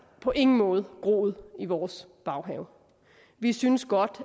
på ingen måde groet i vores baghave vi synes godt